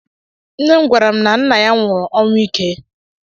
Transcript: Nne m gwara m na nna ya nwụrụ ọnwụ ike